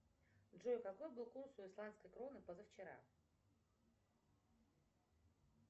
джой какой был курс у исландской кроны позавчера